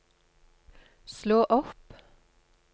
slå opp